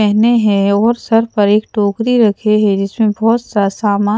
पेहने हैं और सर पर एक टोकरी रखे हैं जिसमें बहुत सा सामान--